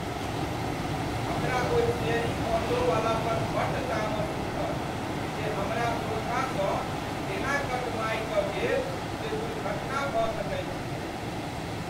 हमरा ओहि शेयरिङ्ग ऑटोवला पर बड़ तामस उठल जे हमरा सोझाँसँ तेना कट मारि कऽ गेल जे दुर्घटना भऽ सकैत छलैक।